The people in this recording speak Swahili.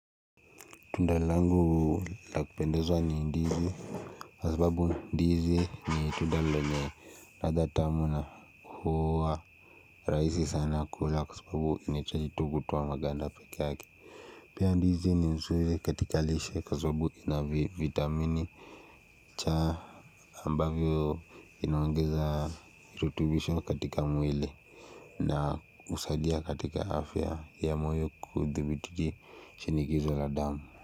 Tunda langu la kupendezwa ni ndizi Kwa sababu ndizi ni tunda lenye ladha tamu na huwa rahisi sana kula kwa sababu inahitaji tu kutoa maganda pekee yake Pia ndizi ni nzuri katika lishe kwa sababu inavitamini cha ambavyo inaongeza virutubisho katika mwili na husalia katika afya ya moyo kudhibiti shinikizo la damu.